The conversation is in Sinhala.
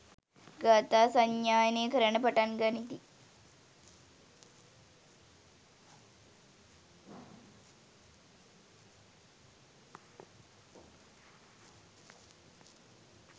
ගාථා සජ්ඣායනය කරන්නට පටන් ගනිති.